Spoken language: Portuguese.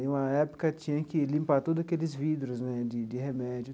Em uma época, tinha que limpar todos aqueles vidros né de de remédio.